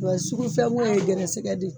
Wa sugufɛn ko ye gɛrɛsɛgɛ de ye.